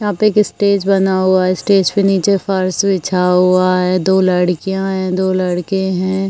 यहाँ पे एक स्टेज बना हुआ है। स्टेज पे नीचे फर्श बिछा हुआ है। दो लड़कियां हैं। दो लड़के हैं।